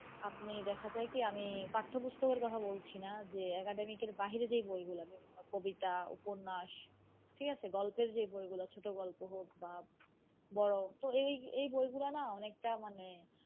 আপনি দেখা যায় কি আমি পাঠ্য পুস্তকের কথা বলছিনা যে academic এর বাহিরে যে বইগুলা কবিতা উপন্যাস, ঠিক আছে গল্পের যে বইগুলা, ছোট গল্প হোক বা বড় তো এই এই এই বইগুলা না অনেকটা মানে,